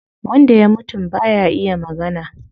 Wanda ya mutum baya iya magana